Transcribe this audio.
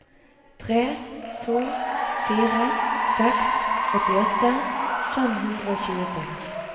tre to fire seks åttiåtte fem hundre og tjueseks